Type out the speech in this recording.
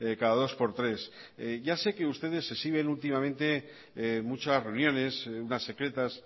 cada dos por tres ya sé que ustedes se exhiben últimamente muchas reuniones unas secretas